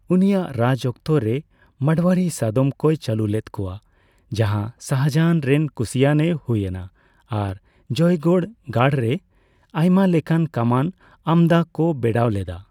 ᱩᱱᱤᱭᱟᱜ ᱨᱟᱡᱽᱚᱠᱛᱚᱨᱮ, ᱢᱟᱲᱳᱭᱟᱨᱤ ᱥᱟᱫᱚᱢ ᱠᱚ ᱪᱟᱹᱞᱩ ᱞᱮᱫ ᱠᱚᱣᱟ, ᱡᱟᱦᱟᱸ ᱥᱟᱦᱟᱡᱟᱱ ᱨᱮᱱ ᱠᱩᱥᱤᱭᱟᱱ ᱮ ᱦᱩᱭ ᱮᱱᱟ ᱟᱨ ᱡᱚᱭᱜᱚᱲ ᱜᱟᱲ ᱨᱮ ᱟᱭᱢᱟ ᱞᱮᱠᱟᱱ ᱠᱟᱢᱟᱱ ᱟᱢᱫᱟ ᱠᱚ ᱵᱮᱲᱟᱣ ᱞᱮᱫᱟ ᱾